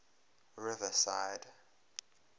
riverside